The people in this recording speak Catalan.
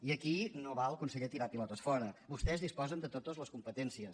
i aquí no val conseller tirar pilotes fora vostès disposen de totes les competències